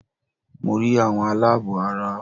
Mo rí àwọn aláàbọ̀ ara